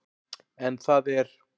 En það er